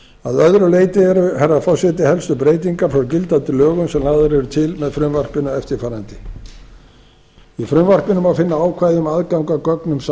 að öðru leyti herra forseti eru helstu breytingar frá gildandi lögum sem lagðar eru til með frumvarpinu eftirfarandi í frumvarpinu má finna ákvæði um aðgang að gögnum